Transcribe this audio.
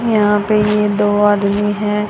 यहां पे ये दो आदमी हैं।